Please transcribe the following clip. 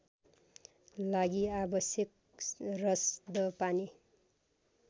लागि आवाश्यक रसदपानी